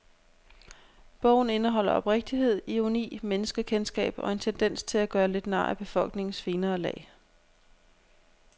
Bogen indeholder oprigtighed, ironi, menneskekendskab og en tendens til at gøre lidt nar af befolkningens finere lag.